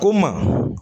O maa